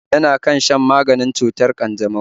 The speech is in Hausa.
Yana kan shan maganin cutar ƙanjamau